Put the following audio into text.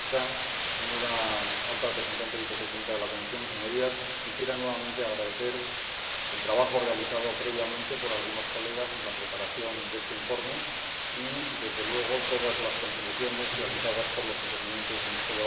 Señora Presidenta, señora Vicepresidenta de la Comisión Alta Representante, Señorías, quisiera nuevamente agradecer el trabajo realizado previamente por algunos colegas en la preparación de este informe y, desde luego, todas las contribuciones realizadas por los intervinientes en este debate.